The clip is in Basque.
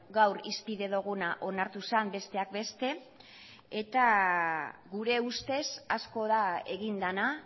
gaur hizpide duguna onartu zen besteak beste eta gure ustez asko da egin dena